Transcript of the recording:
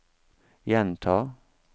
gjenta